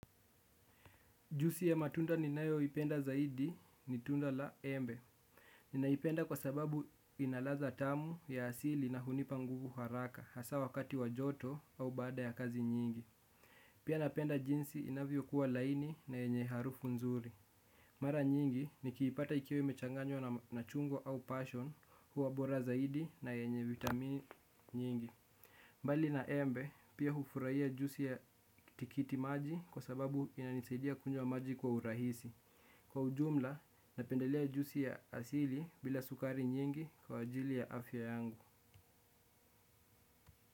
Juisi ya matunda ninayo ipenda zaidi ni tunda la embe. Ninaipenda kwa sababu inaladha tamu ya asili na hunipa nguvu haraka hasa wakati wa joto au baada ya kazi nyingi. Pia napenda jinsi inavyo kuwa laini na yenye harufu nzuri. Mara nyingi nikiipata ikiwa imechanganywa na nachungwa au passion huwa bora zaidi na yenye vitamini nyingi. Mbali na embe pia hufurahia juisi ya tikiti maji kwa sababu inanisaidia kunywa maji kwa urahisi. Kwa ujumla, napendalea juisi ya asili bila sukari nyingi kwa ajili ya afya yangu.